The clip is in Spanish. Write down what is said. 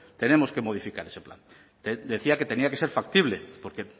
tenemos que modificar ese plan decía que tenía que ser factible porque